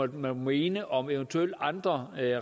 de måtte mene om eventuelle andre